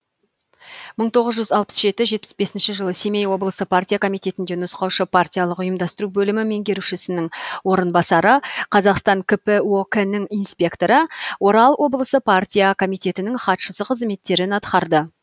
мың тоғыз жүз алпыс жеті жетпіс бесінші жылы семей облысы партия комитетінде нұсқаушы партиялық ұйымдастыру бөлімі меңгерушісінің орынбасары қазақстан кп ок нің инспекторы орал облысы партия комитетінің хатшысы қызметтерін атқарды